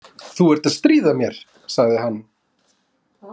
Þú ert að stríða mér, sagði hann.